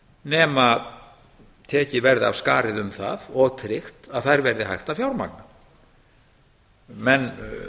nema tekið verði af skarið um það og tryggt að það verði hægt að fjármagna menn